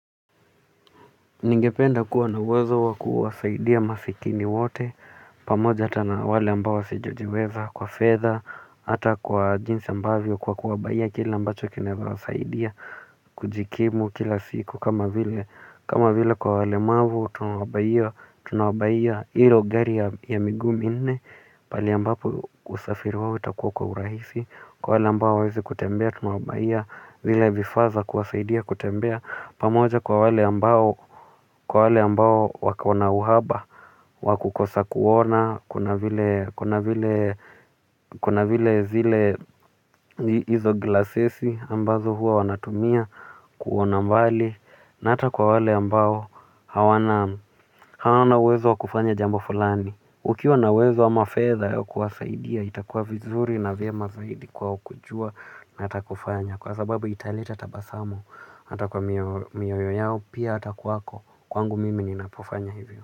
Ningependa kuwa na uwezo wa kuwasaidia masikini wote, pamoja ata na wale ambao wasiyojiweza kwa fedha, ata kwa jinsi ambavyo kwa kuwabuyia kila ambacho kinaweza wasaidia, kujikimu kila siku, kama vile kwa walemavu tunawabuyia tunawabuyia ilo gari ya miguu minne, pahali ambapo usafiri wao utakuwa kwa urahisi. Kwa wale ambao hawezi kutembea, tunawabuyia, zile vifaa za kuwasaidia, kutembea pamoja kwa wale ambao, kwa wale ambao wakona uhaba, wa kukosa kuona. Kuna vile, kuna vile, kuna vile zile izo glasesi ambazo hua wanatumia, kuona mbali na hata kwa wale ambao, hawana, hawana uwezo wakufanya jambo fulani. Ukiwa na uwezo ama fedha ya kuwasaidia itakuwa vizuri na vyema zaidi kwao kujua na hata kufanya. Kwa sababu italeta tabasamu ata kwa mioyo yao pia hata kwako kwangu mimi ni napofanya hivyo.